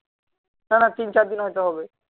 টানা তিন চারদিন হয় তো হবে